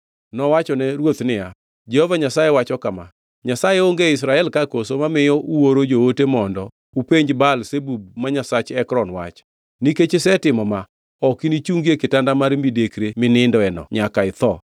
Nowachone ruoth niya, “Jehova Nyasaye wacho kama: Nyasaye onge e Israel ka koso mamiyo uoro joote mondo upenj Baal-Zebub ma nyasach Ekron wach? Nikech isetimo ma ok inichungi e kitanda mar midekre minindeno, nyaka itho!”